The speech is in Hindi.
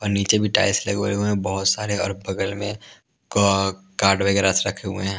और नीचे भी टाइल्स लगे हुए हैं बहुत सारे और बगल में क कार्ड वगैरह रखे हुए हैं ।